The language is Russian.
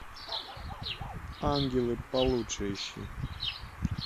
ангелы получше ищи